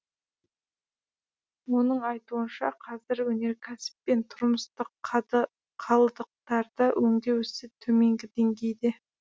оның айтуынша қазір өнеркәсіп пен тұрмыстық қалдықтарды өңдеу ісі төменгі деңгейде